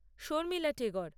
Sharmila Tagore